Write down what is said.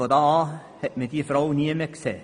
Seither wurde diese Frau nie mehr gesehen.